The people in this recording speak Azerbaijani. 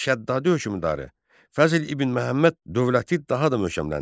Şəddadi hökmdarı Fəzl İbn Məhəmməd dövləti daha da möhkəmləndirdi.